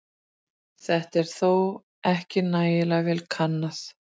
Þetta er þó ekki nægilega vel kannað.